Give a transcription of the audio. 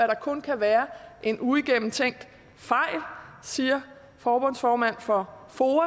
der kun kan være en uigennemtænkt fejl siger forbundsformanden for foa